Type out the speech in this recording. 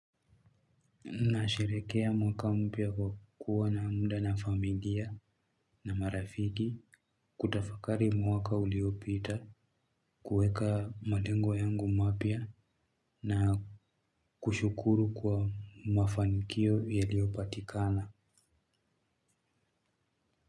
Nasherekea mwaka mpya kwa kuwa na mda na familia na marafiki kutafakari mwaka uliopita kuweka malengo yangu mapya na kushukuru kwa mafanikio yaliopatikana.